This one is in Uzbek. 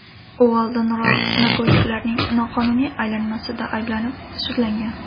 U oldinroq narkotiklarning noqonuniy aylanmasida ayblanib, sudlangan.